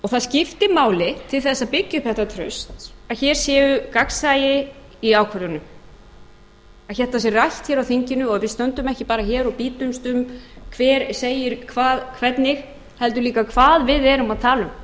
það skiptir máli til þess að byggja upp þetta traust að hér sé gagnsæi í ákvörðunum að þetta sé rætt hér á þinginu og við stöndum ekki bara hér og bítumst um hver segir hvað hvernig heldur líka hvað við erum að tala um